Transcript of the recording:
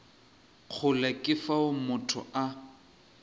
kgole ke fao motho a